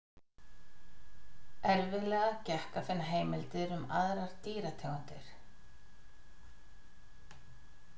Erfiðlega gekk að finna heimildir um aðrar dýrategundir.